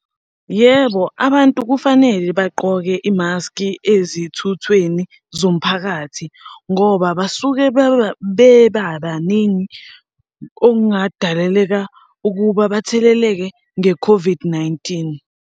Yebo, abantu kufanele bagqoke imaski ezithuthweni zomphakathi, ngoba basuke bebabaningi okungadaleleka ukuba batheleleke nge-COVID-19.